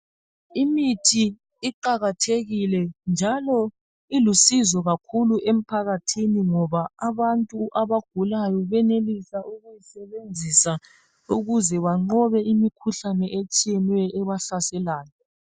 Imithi iqakathekile njalo ilusizo kakhulu emphakathini ngoba abantu abagulayo benelisa ukuwusebenzisa ukuze banqobe imikhuhlane etshiyeneyo ebahlaselayo.